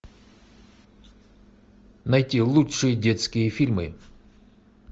найти лучшие детские фильмы